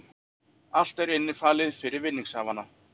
Allt er innifalið fyrir vinningshafana